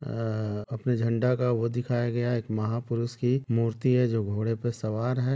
अ - अ - आ अपने झंडा का वो दिखाया गया है एक महापुरुष की एक मूर्ति है जो घोड़े पे सवार है।